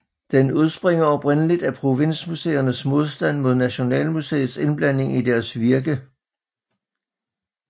Den udspringer oprindeligt af provinsmuseernes modstand mod Nationalmuseets indblanding i deres virke